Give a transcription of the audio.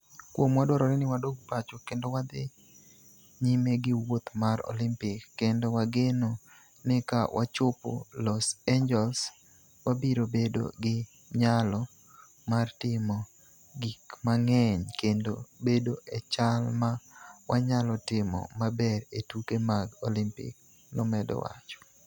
"Kuomwa, dwarore ni wadog pacho kendo wadhi nyime gi wuoth mar Olimpik kendo wageno ni ka wachopo Los Angeles, wabiro bedo gi nyalo mar timo gik mang'eny kendo bedo e chal ma wanyalo timo maber e tuke mag Olimpik, " nomedo wacho.